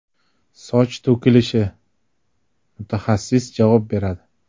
Soch to‘kilishi – mutaxassis javob beradi.